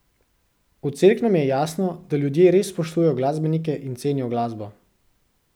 V Cerknem je jasno, da ljudje res spoštujejo glasbenike in cenijo glasbo.